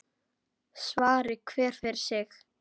Svari hver fyrir sig.